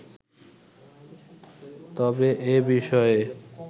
তবে এ বিষয়ে